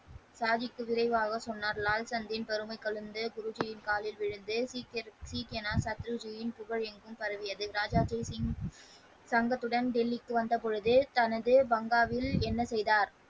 சாகிப் குதிரை வாங்க சொன்னார் லால்சனின் பெருமையை கலந்து குருஜியின் காலில் விழுந்து சீக்கியம் சத்குருஜியின் புகழ் என்று பரப்பினார் ராஜா ஜெய்சிங் சங்கத்துடன் டெல்லிக்கு வந்த பொழுது தனது பங்களாவில் என்ன செய்தார்.